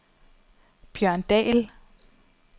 Bjørn Dahl